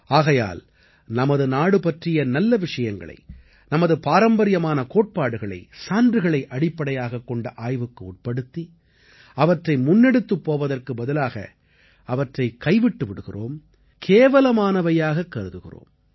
ஆகையால் நமது நாடு பற்றிய நல்ல விஷயங்களை நமது பாரம்பரியமான கோட்பாடுகளை சான்றுகளை அடிப்படையாகக்கொண்ட ஆய்வுக்கு உட்படுத்தி அவற்றை முன்னெடுத்துப் போவதற்கு பதிலாக அவற்றைக் கைவிட்டு விடுகிறோம் கேவலமானவையாகக் கருதுகிறோம்